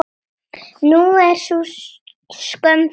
Nú er sú skömm farin.